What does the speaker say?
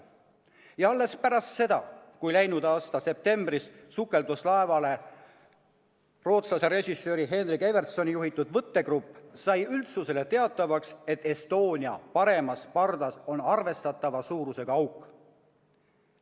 Ja alles pärast seda, kui läinud aasta septembris sukeldus laevale rootslasest režissööri Henrik Evertssoni juhitud võttegrupp, sai üldsusele teatavaks, et Estonia paremas pardas on arvestatava suurusega auk.